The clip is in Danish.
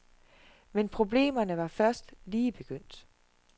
Men problemerne var først lige begyndt.